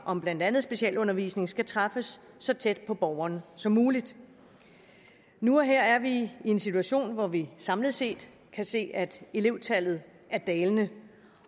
om blandt andet specialundervisning skal træffes så tæt på borgeren som muligt nu og her er vi i en situation hvor vi samlet set kan se at elevtallet er dalende